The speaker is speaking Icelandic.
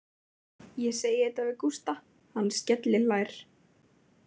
Ég segi þetta við Gústa, hann skellihlær.